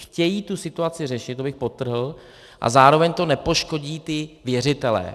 Chtějí tu situaci řešit, to bych podtrhl, a zároveň to nepoškodí ty věřitele.